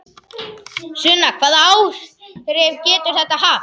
Sunna: Hvaða áhrif getur þetta haft?